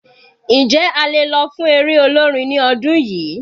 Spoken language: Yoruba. Njẹ́ a lè lọ fún eré olórin ní ọdún yìí?